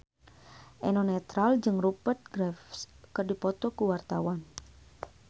Eno Netral jeung Rupert Graves keur dipoto ku wartawan